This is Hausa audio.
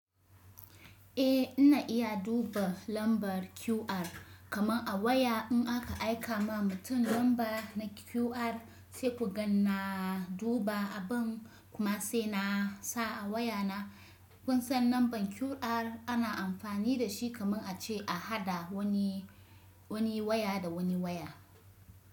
Eh ina iya duba lambar QR kaman a waya in aka aika ma mutum lamba na QR sai ku gan na duba abun kuma sai na sa a wayana. Kun sannan lambar QR ana amfani da shi kaman ace a haɗa wani, wani waya da wani waya.